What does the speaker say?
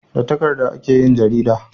Da takardu ake yin jarida